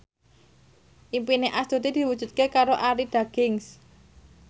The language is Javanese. impine Astuti diwujudke karo Arie Daginks